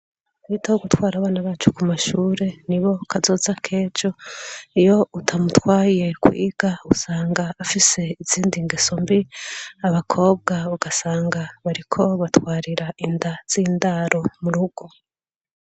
Twiteho gutwara abana bacu kumashure nibo kazoza kejo. Iyo utamutwaye kwiga usanga afise izindi ngeso mbi , abakobwa ugasanga bariko batwarira Inda z’indaro murugo.